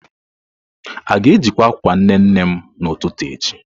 A ga-ejikwa akwa nne nne m n'ụtụtụ echi?